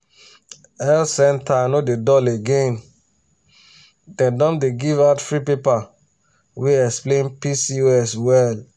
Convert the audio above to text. health center no dey dull again dem don dey give out free paper wey explain pcos well.